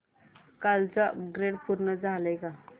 कालचं अपग्रेड पूर्ण झालंय का